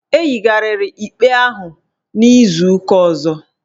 Ehigharịrị ikpe ahụ n'izu ụka ọzọ